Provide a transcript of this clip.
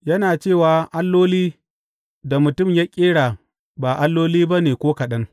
Yana cewa alloli da mutum ya ƙera ba alloli ba ne ko kaɗan.